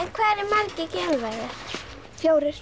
hvað eru margir geimverur fjórir